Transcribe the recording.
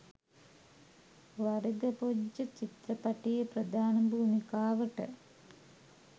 වරිග‍පොජ්ජ චිත්‍රපටයේ ප්‍රධාන භූමිකාවට